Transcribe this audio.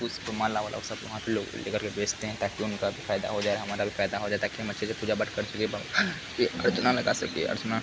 कुछ तो मालावाला वो सब वहाँ पे लोग बेचते हैं ताकि उनका भी फायदा हो जाए और हमारा भी फायदा हो जाए | ताकि हम अच्छे से पूजा पाठ कर सके भगवानी की अर्चना लगा सके अर्चना --